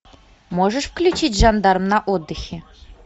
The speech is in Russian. можешь включить жандарм на отдыхе